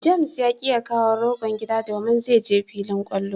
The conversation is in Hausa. "James " ya ki ya kawo rogon gida domin zai je filin kwallo.